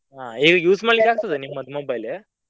ಆಹ್ ಈಗ use ಮಾಡ್ಲಿಕ್ಕೆ ಆಗ್ತದ ನಿಮ್ಮದು mobile ?